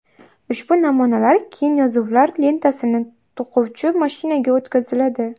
Ushbu namunalar keyin yozuvlar lentasini to‘quvchi mashinaga o‘tkaziladi.